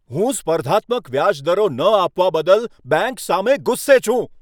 હું સ્પર્ધાત્મક વ્યાજ દરો ન આપવા બદલ બેંક સામે ગુસ્સે છું.